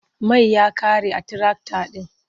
Mai ya ƙare a tirakta ɗin.